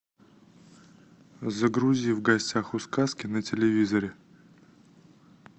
загрузи в гостях у сказки на телевизоре